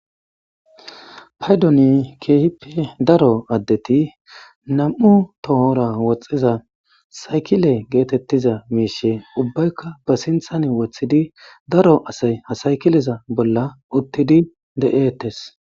paydoni keehippe daro addeti nam'u tohora woxxiza saykile geetettiza miishe ubbaykka ba sinthan wothidi daro asay ha saykileza bolla uttidi de'eettes